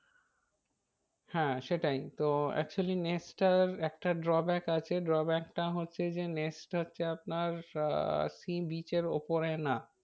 হ্যাঁ সেটাই তো actually নেস্টটার একটা drawback আছে drawback টা হচ্ছে যে নেস্ট হচ্ছে আপনার আহ sea beach এর ওপরে না।